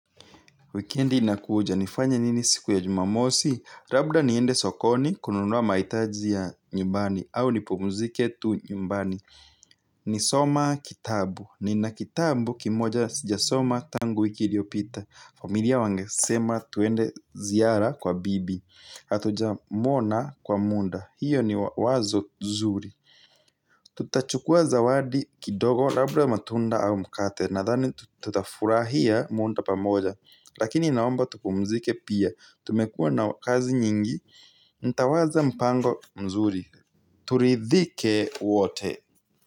Wikendi inakuja. Nifanye nini siku ya jumamosi? Rabda niende sokoni kununua maitaji ya nyumbani au nipumzike tu nyumbani. Ni soma kitabu. Nina kitabu kimoja sijasoma tangu wiki iliopita. Familia wangesema tuende ziara kwa bibi. Atuja mwona kwa munda. Hiyo ni wazo zuri. Tutachukua zawadi kidogo rabda matunda au mkate. Nadhani tutafurahia munda pamoja. Lakini naomba tupumzike pia, tumekuwa na kazi nyingi, ntawaza mpango mzuri. Turidhike wote.